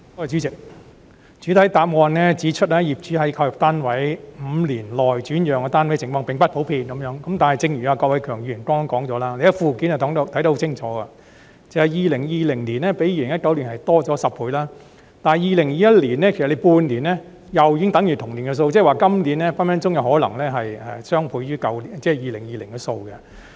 主席，主體答覆指出，業主在購入單位5年內轉讓單位的情況並不普遍，但正如郭偉强議員剛才所說，從附件可清楚看到 ，2020 年較2019年的數字增加10倍，單是2021年首半年，已經等於2020年全年的數字，即是說，今年的數字隨時可能是2020年的雙倍。